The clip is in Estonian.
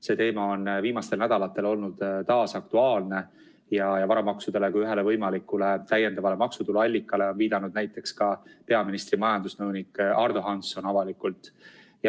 See teema on viimastel nädalatel olnud taas aktuaalne ja varamaksudele kui ühele võimalikule täiendavale maksutuluallikale on viidanud ka näiteks peaministri majandusnõunik Ardo Hansson.